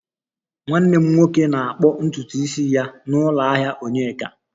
Nwanne m nwoke na-akpụ ntutu isi ya na ụlọ ahịa onyeka